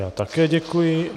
Já také děkuji.